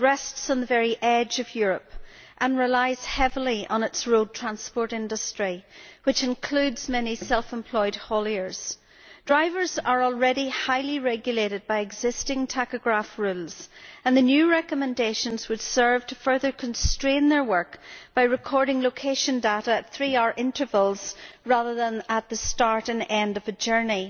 It rests on the very edge of Europe and relies heavily on its road transport industry, which includes many self employed hauliers. Drivers are already highly regulated by existing tachograph rules, and the new recommendations would serve to further constrain their work by recording location data at three hour intervals rather than at the start and end of the journey.